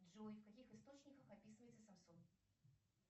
джой в каких источниках описывается самсон